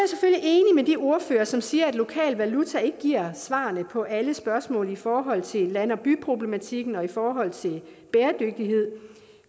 er de ordførere som siger at lokal valuta ikke giver svarene på alle spørgsmål i forhold til land og by problematikken og i forhold til bæredygtighed